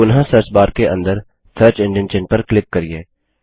पुनः सर्चबार के अंदर सर्च एंजिन चिह्न पर क्लिक करिये